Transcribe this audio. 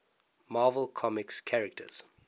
marvel comics characters